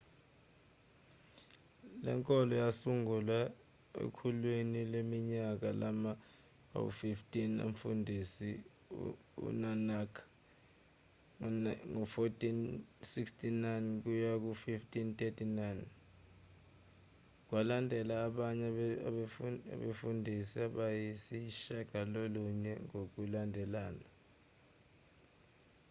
le nkolo yasungulwa ekhulwini leminyaka lama-15 umfundisi unanak 1469–1539. kwalandela abanye abefundisi abayisishiyagalolunye ngokulandelana